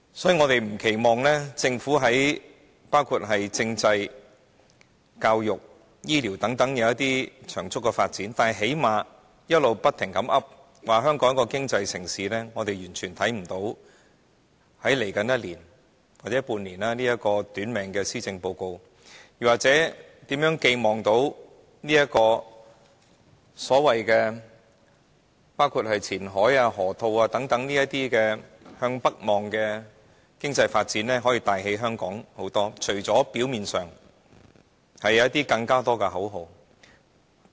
所以，我們不奢望政府能在包括政制、教育、醫療等方面作出長足的發展，但最低限度在他們經常掛在嘴邊，香港作為一個經濟城市這方面，我們完全看不到在未來一年或半年內，能對這份短命的施政報告寄予任何期望，又或希望前海、河套等向北望的經濟發展計劃，能為香港發揮一些甚麼帶動經濟的作用，除了表面上能創造更多口號之外。